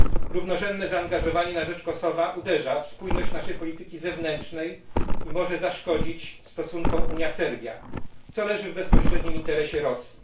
Równorzędne zaangażowanie na rzecz Kosowa uderza w spójność naszej polityki zewnętrznej i może zaszkodzić stosunkom Unia Serbia, co leży w bezpośrednim interesie Rosji.